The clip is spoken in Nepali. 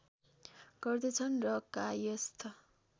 गर्दछन् र कायस्थ